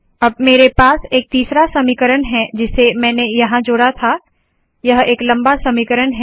अब मेरे पास एक तीसरा समीकरण है जिसे मैंने यहाँ जोड़ा था यह एक लंबा समीकरण है